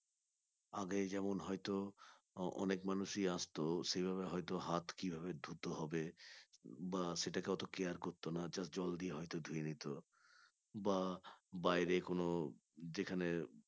আগে যেমন হয়তো অনেক মানুষই আসত সেভাবে হয়তো হাত কিভাবে ধুতে হবে বা সেটাকে অত care করতো না just জল দিয়ে হয়ত ধুয়ে নিত বা বাইরে কোন যেখানে